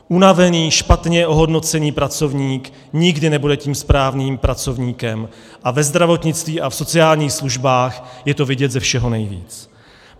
Unavený, špatně ohodnocený pracovník nikdy nebude tím správným pracovníkem a ve zdravotnictví a v sociálních službách je to vidět ze všeho nejvíce.